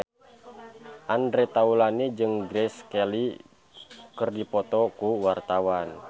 Andre Taulany jeung Grace Kelly keur dipoto ku wartawan